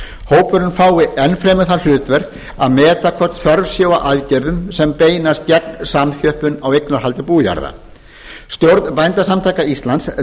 hópurinn fái enn fremur það hlutverk að meta hvort þörf sé á aðgerðum sem beinast gegn samþjöppun á eignarhaldi bújarða stjórn bændasamtaka íslands